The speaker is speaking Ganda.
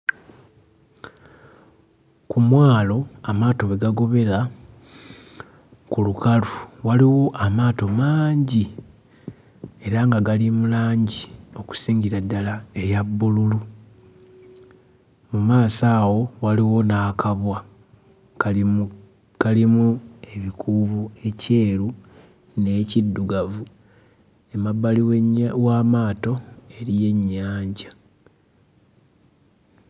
Ku mwalo amaato we gagobera, ku lukalu waliwo amaato mangi era nga gali mu langi okusingira ddala eya bbululu. Mu maaso awo waliwo n'akabwa kalimu kalimu ebikuubo ekyeru n'ekiddugavu. Emabbali w'ennya w'amaato eriyo ennyanja.